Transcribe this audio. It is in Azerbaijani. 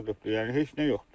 Yəni heç nə yoxdur.